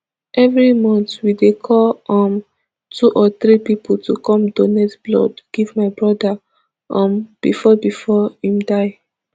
evri month we dey call um two or three pipo to come donate blood give my broda um bifor bifor im die